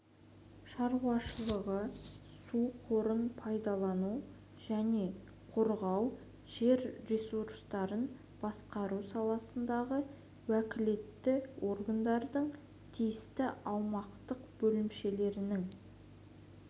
шаруашылығы су қорын пайдалану және қорғау жер ресурстарын басқару саласындағы уәкілетті органдардың тиісті аумақтық бөлімшелерінің